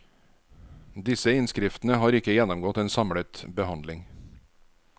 Disse innskriftene har ikke gjennomgått en samlet behandling.